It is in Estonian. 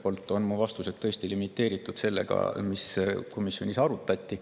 Ühelt poolt on mu vastused tõesti limiteeritud sellega, mis komisjonis arutati.